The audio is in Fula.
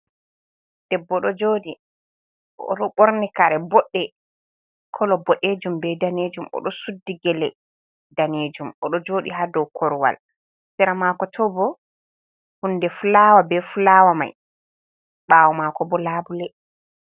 Debbo ɗo Joɗi, oɗo Ɓorni Kare Bodɗe, Kolo Boɗejum be Danejum, Oɗo Suddi Gele Danejum, Oɗo Joɗi ha dow Korowal, Seramako tobo Hunde Fulawa be Fulawa mai, ɓawo Mako bo Labule.